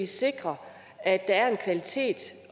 sikre at der er en kvalitet